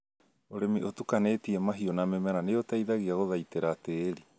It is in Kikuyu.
ũrĩmi ũtukanĩtie mahiũ na mĩmera nĩũteithagia gũthaitĩra tĩri